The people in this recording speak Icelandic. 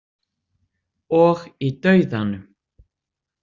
Og í dauðanum.